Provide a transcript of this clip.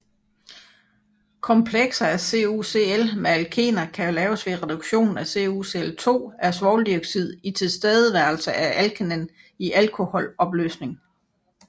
Komplekser af CuCl med alkener kan laves ved reduktion af CuCl2 af svovldioxid i tilstedeværelse af alkenen i alkoholopløsning